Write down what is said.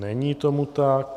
Není tomu tak.